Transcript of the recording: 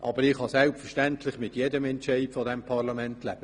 Aber ich kann selbstverständlich mit jedem Entscheid dieses Parlaments leben.